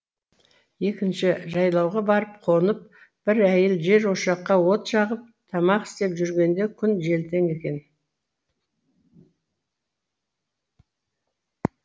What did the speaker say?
екінші жайлауға барып қонып бір әйел жер ошаққа от жағып тамақ істеп жүргенде күн желтең екен